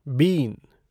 been